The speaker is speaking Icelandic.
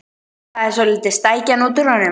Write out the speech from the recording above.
Það er svoleiðis stækjan út úr honum!